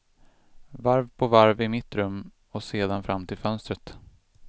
Varv på varv i mitt rum och sedan fram till fönstret.